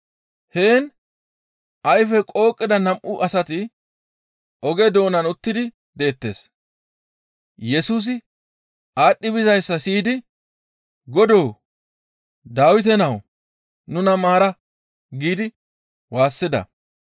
Heen ayfey qooqida nam7u asati oge doonan utti deettes. Yesusi aadhdhi bizayssa siyidi, «Godoo! Dawite nawu, nuna maara!» giidi waassida.